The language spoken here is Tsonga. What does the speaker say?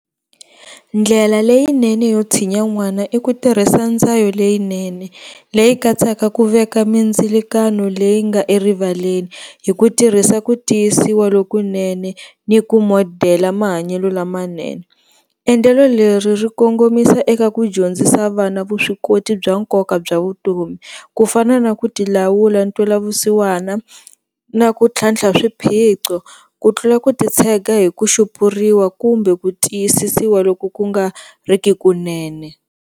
Ndlela leyinene yo tshinya n'wana i ku tirhisa leyinene leyi katsaka ku veka mindzilikano leyi nga erivaleni hi ku tirhisa ku tiyisiwa lokunene ni ku modela mahanyelo lamanene, endlelo leri ri kongomisa eka ku dyondzisa vana vuswikoti bya nkoka bya vutomi ku fana na ku ti lawula, ntwelavusiwana na ku tlhantlha swiphiqo ku tlula ku ti tshega hi ku xupuriwa kumbe ku tiyisisiwa loko ku nga ri ki kunene.